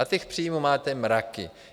A těch příjmů máte mraky.